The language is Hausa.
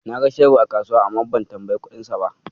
Na ga shebir a kasuwa, amma ban tambayi kuɗinsa ba.